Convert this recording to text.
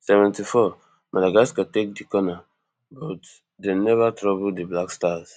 seventy-fourmadagascar take di corner but dem neva trouble di blackstars